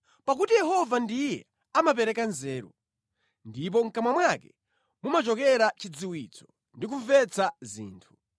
Pakuti Yehova ndiye amapereka nzeru, ndipo mʼkamwa mwake mumachokera chidziwitso ndi kumvetsa zinthu.